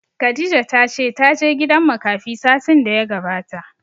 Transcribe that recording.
Khadijah ta ce ta je gidan makafi satin da ya gabata